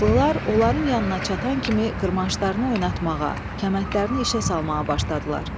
Atlılar onların yanına çatan kimi qırmançlarını oynatmağa, kəməndlərini işə salmağa başladılar.